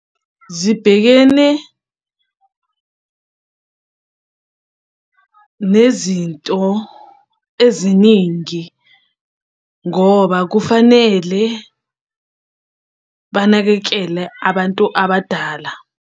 Zibhekene nezinto eziningi ngoba kufanele banakekele abantu abadala.